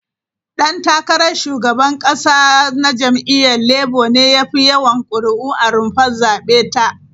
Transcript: Dan takarar shugaban kasa na jam'iyyar Labour ne ya fi yawan kuri'u a rumfar zabe ta.